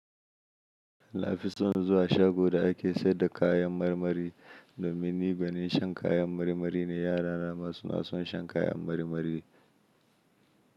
Na fi son zuwa shago da ake sayar da kayan marmari, domin ni gwanin shan kayan marmari ne yarana ma suna son shan kayan marmari.